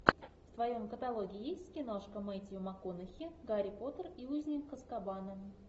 в твоем каталоге есть киношка метью макконахи гарри поттер и узник азкабана